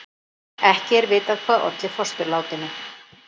Ekki er vitað hvað olli fósturlátinu